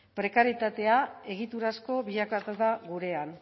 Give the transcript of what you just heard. prekaritatea egiturazko bilakatu da gurean